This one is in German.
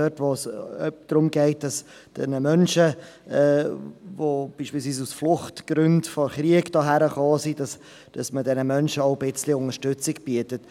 Es geht darum, dass man den Menschen, die beispielsweise aus Fluchtgründen, wegen Krieg, hierhergekommen sind, etwas Unterstützung bietet.